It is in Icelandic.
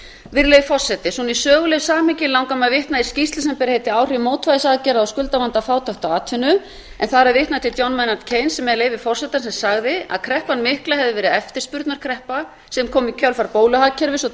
virðulegi forseti í sögulegu samhengi langar mig að vitna í skýrslu sem ber heitið áhrif mótvægisaðgerða á skuldavanda fátækt og atvinnu en þar er vitnað til sem með leyfi forseta sagði að kreppan mikla hefði verið eftirspurnarkreppa sem kom í kjölfar bóluhagkerfis og